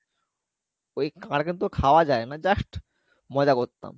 ওই কাকড়া কিন্তু খাওয়া যাই না just মজা করতাম